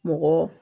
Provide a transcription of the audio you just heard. Mɔgɔ